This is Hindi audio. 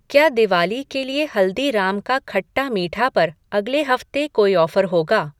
क्या दिवाली के लिए हल्दीराम का खट्टा मीठा पर अगले हफ़्ते कोई ऑफ़र होगा?